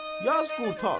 Yaz qurtar.